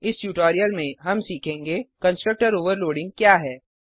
इस ट्यूटोरियल में हम सीखेंगे कंस्ट्रक्टर ओवरलोडिंग क्या है